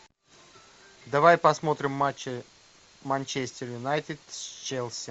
давай посмотрим матч манчестер юнайтед с челси